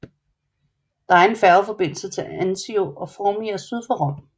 Der er færgeforbindelse til Anzio og Formia syd for Rom